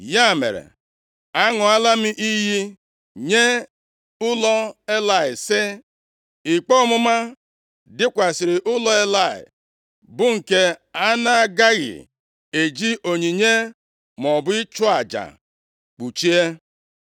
Ya mere, aṅụọla m iyi nye ụlọ Elayị sị, ‘Ikpe ọmụma dịkwasịrị ụlọ Elayị bụ nke a na-agaghị eji onyinye maọbụ ịchụ aja kpuchie.’ ”